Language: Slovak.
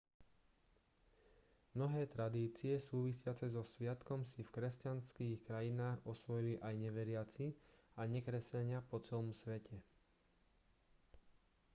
mnohé tradície súvisiace so sviatkom si v kresťanských krajinách osvojili aj neveriaci a nekresťania po celom svete